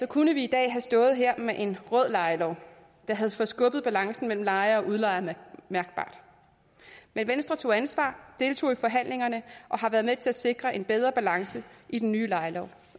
kunne vi i dag havde stået her med en rød lejelov der havde forskubbet balancen mellem lejere og udlejere mærkbart men venstre tog ansvar deltog i forhandlingerne og har været med til at sikre en bedre balance i den nye lejelov